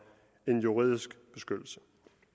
en juridisk beskyttelse